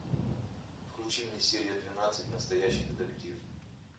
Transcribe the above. включи мне серия двенадцать настоящий детектив